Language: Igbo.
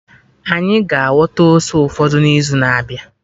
Anyị ga-aghọta ose ụfọdụ n'izu na-abịa